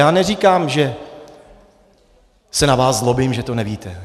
Já neříkám, že se na vás zlobím, že to nevíte.